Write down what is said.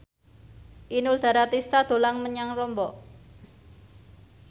Inul Daratista dolan menyang Lombok